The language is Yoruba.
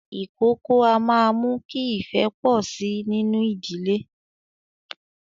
Ìkókó a máa mú kí ifẹ́ pọ sí nínú ìdílé